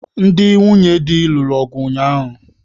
Ndị nwunye di lụrụ ọgụ ụnyaahụ